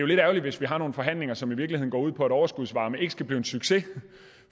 lidt ærgerligt hvis vi har nogle forhandlinger som i virkeligheden går ud på at overskudsvarme ikke skal blive en succes